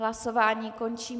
Hlasování končím.